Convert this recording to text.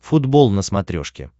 футбол на смотрешке